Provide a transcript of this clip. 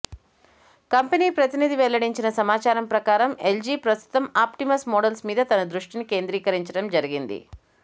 company ప్రతినిధి వెల్లడించిన సమాచారం ప్రకారం ఎల్జి ప్రస్తుతం ఆప్టిమస్ మోడల్స్ మీద తన దృష్టిని కేంద్రీకరిచండం జరిగింది